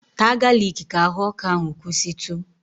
Taa galiki ka ahụ ọkụ ahụ kwụsịtụ!